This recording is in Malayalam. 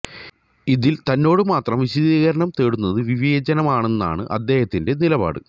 ഇതിൽ തന്നോട് മാത്രം വിശദീകരണം തേടുന്നത് വിവേചനമാണെന്നാണ് അദ്ദേഹത്തിന്റെ നിലപാട്